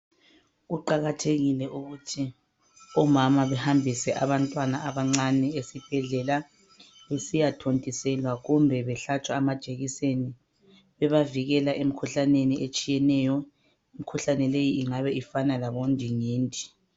Kuqakathekile ukuthi omama bahambise abantwana abancane esibhedlela nesiyathontiselwa kumbe behlatshwe amajekiseni bebavikela emkhuhlaneni etshiyeneyo. Imikhuhlane leyi ingabe ifana labondingindi.